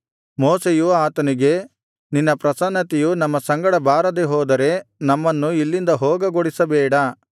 ಮೋಶೆಯು ಆತನಿಗೆ ನಿನ್ನ ಪ್ರಸನ್ನತೆಯು ನಮ್ಮ ಸಂಗಡ ಬಾರದೇ ಹೋದರೆ ನಮ್ಮನ್ನು ಇಲ್ಲಿಂದ ಹೋಗಗೊಡಿಸಬೇಡ